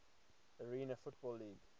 arena football league